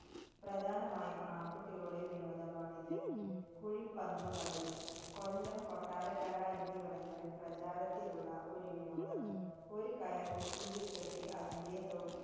പ്രധാനമായും ആണ്‍കുട്ടികളുടെ വിനോദമാണിത്. കുഴിപ്പന്തുകളി. കൊല്ലം, കൊട്ടാരക്കര എന്നിവിടങ്ങളില്‍ പ്രചാരത്തിലുള്ള ഒരു വിനോദം. ഒരു കയര്‍ കുറ്റിയില്‍കെട്ടി അതിന്‍റെ തൊ~